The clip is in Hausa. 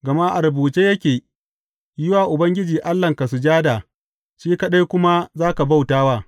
Gama a rubuce yake, Yi wa Ubangiji Allahnka sujada, shi kaɗai kuma za ka bauta wa.’